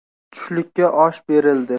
Tushlikka osh berildi.